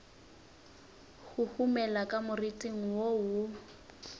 huhumela ka moriting wo wo